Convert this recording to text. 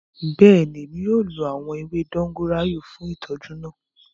Bẹẹni, Emi yoo lo awọn ewe dogoyara fun itọju naa.